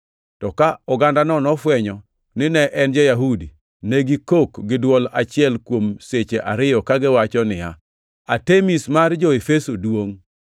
To ka ogandano nofwenyo nine en ja-Yahudi, ne gikok gi dwol achiel kuom seche ariyo kagiwacho niya, “Artemis mar jo-Efeso duongʼ!”